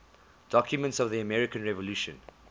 documents of the american revolution